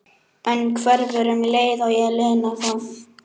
En hverfur um leið og ég lina það.